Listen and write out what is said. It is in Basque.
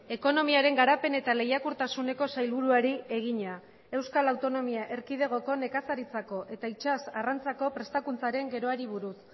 ekonomiaren garapen eta lehiakortasuneko sailburuari egina euskal autonomia erkidegoko nekazaritzako eta itsas arrantzako prestakuntzaren geroari buruz